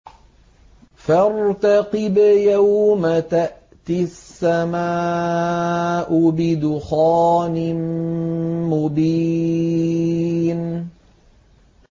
فَارْتَقِبْ يَوْمَ تَأْتِي السَّمَاءُ بِدُخَانٍ مُّبِينٍ